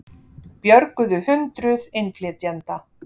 Björguðu hundruð innflytjenda